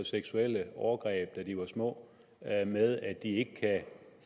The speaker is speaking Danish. seksuelle overgreb da de var små med at de ikke kan